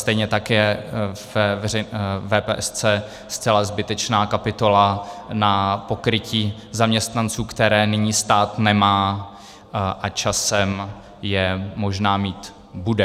Stejně tak je ve VPS zcela zbytečná kapitola na pokrytí zaměstnanců, které nyní stát nemá a časem je možná mít bude.